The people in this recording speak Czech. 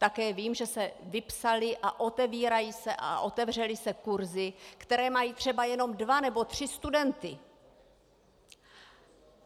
Také vím, že se vypsaly a otevírají se a otevřely se kurzy, které mají třeba jenom dva nebo tři studenty.